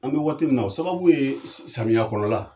An bɛ waati min na o sababu ye samiyɛ kɔnɔla